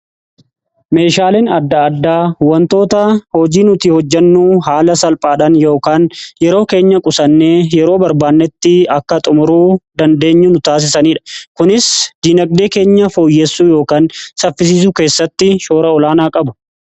Meeshaaleen adda addaa wantoota hojii nuti hojjannu haala salphaadhan yookaan yeroo keenya qusannee yeroo barbaannetti akka xumurru dandeenyu nu taasisaniidha. kunis dinagdee keenya fooyyessuu yookiin saffisiisuu keessatti shoora olaanaa qabu.